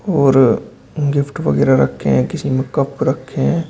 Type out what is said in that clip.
और गिफ्ट वगैरा रखे हैं किसी में कप रखे हैं।